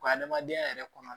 Ka adamadenya yɛrɛ kɔnɔ